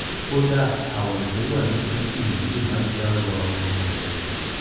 kódà àwọ̀ tó wà nísinsìnyí lè máà jẹ́ awọ ara ọmọ rẹ